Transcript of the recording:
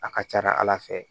A ka ca ala fɛ